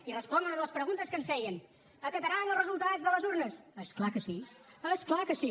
i responc a una de les preguntes que ens feien acataran el resultat de les urnes és clar que sí és clar que sí